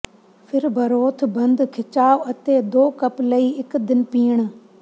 ਫਿਰ ਬਰੋਥ ਬੰਦ ਖਿਚਾਅ ਅਤੇ ਦੋ ਕੱਪ ਲਈ ਇੱਕ ਦਿਨ ਪੀਣ